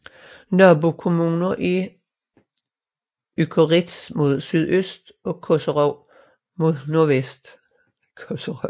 Nabokommuner er Ückeritz mod sydøst og Koserow mod nordvest